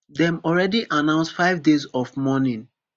dem already announce five days of mourning